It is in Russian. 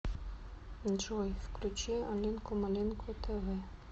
джой включи алинку малинку тэ вэ